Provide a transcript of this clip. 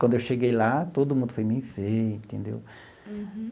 Quando eu cheguei lá, todo mundo foi me ver, entendeu? Uhum.